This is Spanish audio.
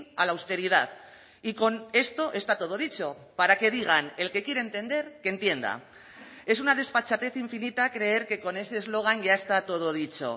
a la austeridad y con esto está todo dicho para que digan el que quiere entender que entienda es una desfachatez infinita creer que con ese eslogan ya está todo dicho